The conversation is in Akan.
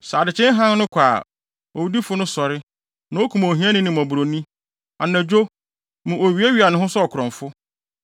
Sɛ adekyee hann no kɔ a, owudifo no sɔre na okum ohiani ne mmɔborɔni; anadwo, mu owiawia ne ho sɛ ɔkorɔmfo.